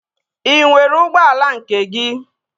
Ị nwere ụgbọala nke gị?